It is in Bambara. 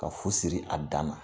Ka fu siri a dan na !